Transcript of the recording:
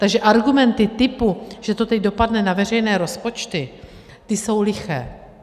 Takže argumenty typu, že to teď dopadne na veřejné rozpočty, ty jsou liché.